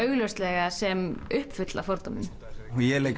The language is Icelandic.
sem uppfull af fordómum ég leik